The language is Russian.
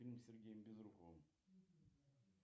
фильм с сергеем безруковым